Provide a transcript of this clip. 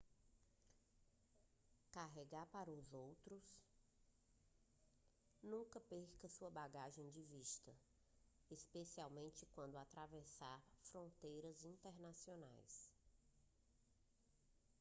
carregar para os outros nunca perca sua bagagem de vista especialmente quando atravessar fronteiras internacionais